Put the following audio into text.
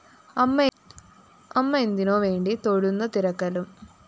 അമ്മ എന്തിനോ വേണ്ടി തൊഴുന്ന തിരക്കലും